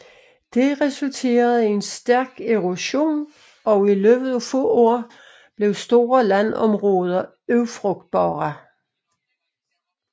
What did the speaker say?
Det resulterede i en stærk erosion og i løbet af få år blev store landområder ufrugtbare